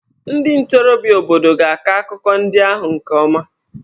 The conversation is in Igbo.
Ndị ntorobịa obodo ga-akọ akụkọ ndị ahụ nke ọma.